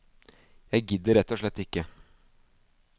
Jeg gidder rett og slett ikke.